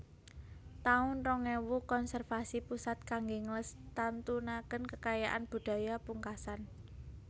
taun rong ewu Konservasi Pusat kangge nglestantunaken kekayaan budaya pungkasan